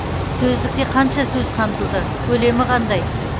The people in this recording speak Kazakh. сөздікте қанша сөз қамтылды көлемі қандай